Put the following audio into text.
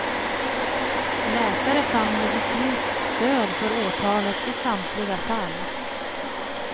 Läkare fann medicinskt stöd för åtalet i samtliga fall.